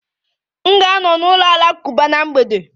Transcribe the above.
M ga-anọ n'ụlọ alakụba na mgbede